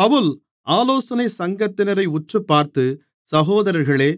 பவுல் ஆலோசனைச் சங்கத்தினரை உற்றுப்பார்த்து சகோதரர்களே